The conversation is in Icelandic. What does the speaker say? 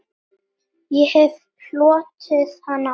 Ég hef hlotið hana áður.